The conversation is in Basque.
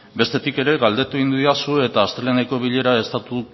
bestetik ere galdetu egin didazu eta asteleheneko bilera estatu